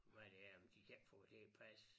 Hvad det er men de kan ikke få det til at passe